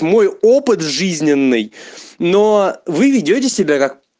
мой опыт жизненный но вы ведёте себя как